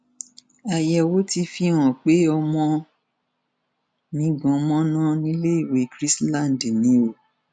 àyẹwò ti fihàn pé ọmọ mi gan mọnà níléèwé chrisland ni o